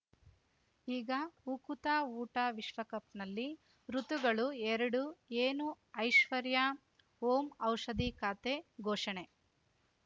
ಈಗ ಉಕುತ ಊಟ ವಿಶ್ವಕಪ್‌ನಲ್ಲಿ ಋತುಗಳು ಎರಡು ಏನು ಐಶ್ವರ್ಯಾ ಓಂ ಔಷಧಿ ಖಾತೆ ಘೋಷಣೆ